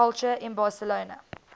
culture in barcelona